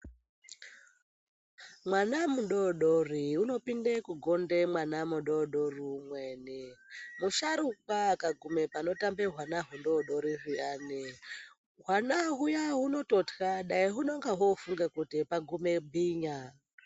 Mwana mudoodori unopinde kugonda mwana mudoodori umweni musharukwa akagume panotamba hwana hwudoodori zviyani hwana hwuya hunototya dai hunenge hwofunga kuti pagume bhinya.